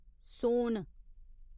सोन